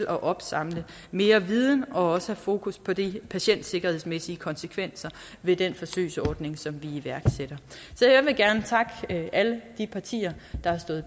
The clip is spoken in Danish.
at opsamle mere viden og også at fokus på de patientsikkerhedsmæssige konsekvenser ved den forsøgsordning som vi iværksætter så jeg vil gerne takke alle de partier der har stået